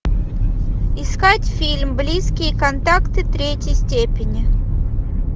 искать фильм близкие контакты третьей степени